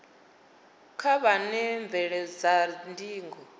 kha vha wane mvelelo dza ndingo